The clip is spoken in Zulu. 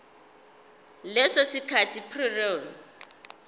leso sikhathi prior